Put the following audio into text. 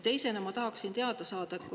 Teisena ma tahaksin teada saada seda.